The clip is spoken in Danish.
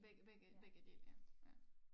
Begge begge begge dele ja ja